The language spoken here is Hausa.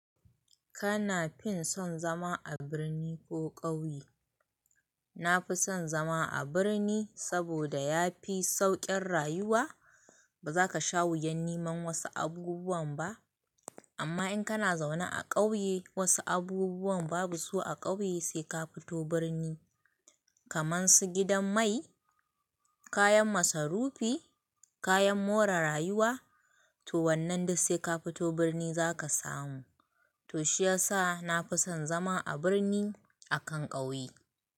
Kana fin son zama a birni ko ƙauye? Na fi son zama a birni saboda ya fi sauƙin rayuwa. Ba za ka sha wuyan neman wasu abubuwan ba, amma in kana zaune a ƙauye wasu abubuwan babu su a ƙauye sai ka fito birni, kamar su gidan mai, kayan masarufi, kayan more rayuwa to wannan duk sai ka fito birni za ka samu. To shiyasa na fi son zama a birni akan ƙauye.